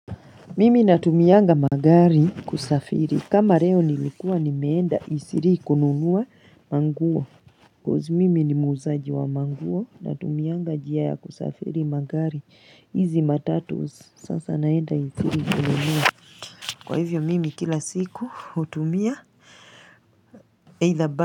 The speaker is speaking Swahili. Mimi natumianga magari kusafiri kama leo nilikuwa nimeenda isilii ikununua manguo coz mimi ni muuzaji wa manguo natumianga njia ya kusafiri magari hizi matatu sasa naenda isilii kununua Kwa hivyo mimi kila siku hutumia.